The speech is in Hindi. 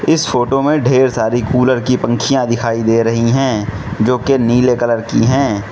इस फोटो में ढेर सारी कूलर की पंखिया दिखाई दे रही हैं जोकि नीले कलर की हैं।